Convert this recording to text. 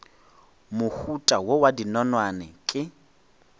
mohuta wo wa dinonwane ke